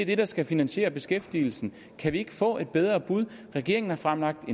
det der skal finansiere beskæftigelsen kan vi ikke få et bedre bud regeringen har fremlagt